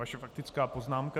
Vaše faktická poznámka.